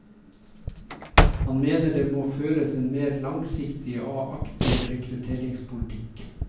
Han mener det må føres en mer langsiktig og aktiv rekrutteringspolitikk.